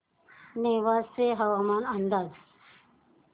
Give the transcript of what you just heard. नेवासे हवामान अंदाज